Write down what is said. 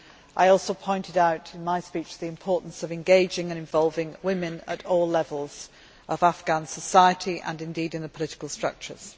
I also pointed out in my speech the importance of engaging and involving women at all levels of Afghan society and, indeed, in the political structures.